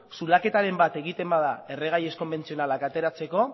zulaketaren bat egiten bada erregai ez konbentzionalak ateratzeko